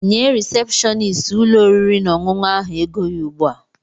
Nye risepshọnist ụlọ oriri na ọṅụṅụ ahụ ego ya ugbu a!